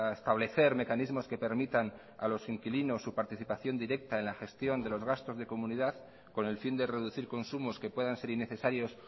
establecer mecanismos que permitan a los inquilinos su participación directa en la gestión de los gastos de comunidad con el fin de reducir consumos que puedan ser innecesarios